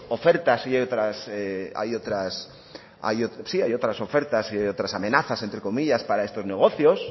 ofertas y hay otras ofertas y hay otras amenazas entre comillas para estos negocios